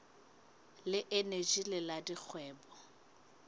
le eneji le la dikgwebo